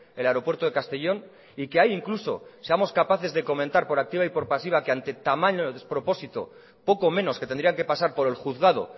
el aeropuerto de castellón y que ahí incluso seamos capaces de comentar por activa y por pasiva que ante el despropósito poco menos que tendrían que pasar por el juzgado